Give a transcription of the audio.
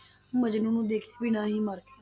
ਮਜਨੂੰ ਨੂੰ ਦੇਖੇ ਬਿਨਾਂ ਹੀ ਮਰ ਗਈ।